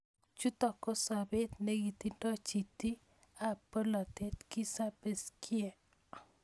Chuto ko sopet nikitindo chiti ab bolatet Kizza Besigye.